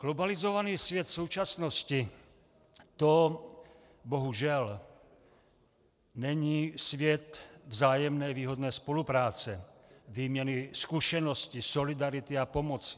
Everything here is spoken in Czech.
Globalizovaný svět současnosti, to bohužel není svět vzájemné výhodné spolupráce, výměny zkušeností, solidarity a pomoci.